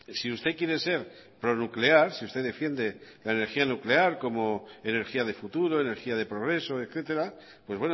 si usted quiere ser pronuclear si usted defiende la energía nuclear como energía de futuro energía de progreso etcétera pues